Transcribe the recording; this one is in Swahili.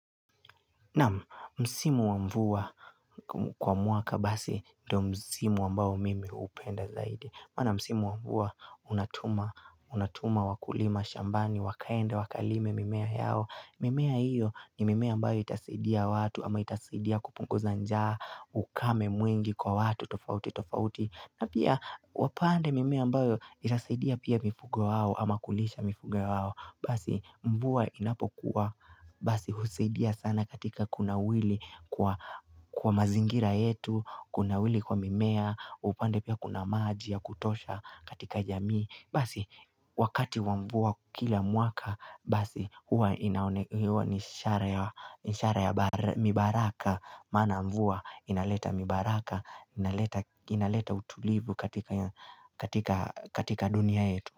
Naam msimu wa mvua kwa mwaka basi ndo msimu ambao mimi hupenda zaidi Maana msimu wa mvua unatuma, unatuma, wakulima, shambani, wakaenda, wakalime mimea yao mimea iyo ni mimea ambayo itasidia watu ama itasidia kupunguza njaa ukame mwingi kwa watu tofauti tofauti na pia wapande mimea ambayo itasidia pia mifugo wao ama kulisha mifugo wao Basi mvua inapo kuwa Basi husaidia sana katika kunawiri Kwa mazingira yetu Kuna wili kwa mimea upande pia kuna maji ya kutosha katika jamii Basi wakati wa mvua kila mwaka Basi huwa ni ishara ya ni ishara ya ni baraka maana mvua inaleta mibaraka inaleta utulivu katika dunia yetu.